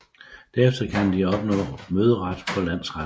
Derefter kan de opnå møderet for landsretterne